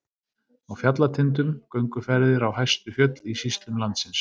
Á fjallatindum- gönguferðir á hæstu fjöll í sýslum landsins.